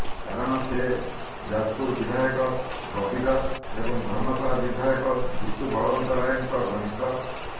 କାରଣ ସେ ଯାଜପୁର ବିଧାୟକ ବବି ଦାସ ଏବଂ ଧର୍ମଶାଳା ବିଧାୟକ ଜିତୁ ବଳବନ୍ତରାୟଙ୍କ ଘନିଷ୍ଠ